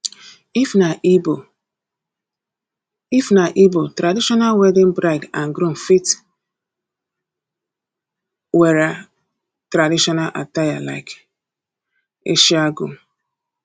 if na igbo if na igbo traditional wedding bride and groom fit wera tradition attire like isiagu